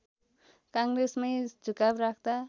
काङ्ग्रेसमै झुकाव राख्दा